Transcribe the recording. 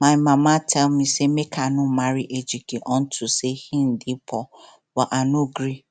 my mama tell me say make i no marry ejike unto say he dey poor but i no gree